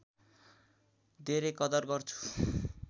धेरै कदर गर्छु